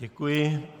Děkuji.